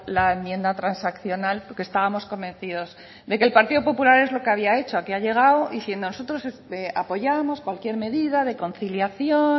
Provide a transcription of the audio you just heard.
la enmienda transaccional porque estábamos convencidos de que el partido popular es lo que había hecho aquí ha llegado diciendo nosotros os apoyamos cualquier medida de conciliación